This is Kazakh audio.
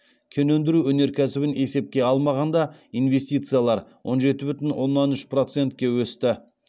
кен өндіру өнеркәсібін есепке алмағанда инвестициялар он жеті бүтін оннан үш процетке өсті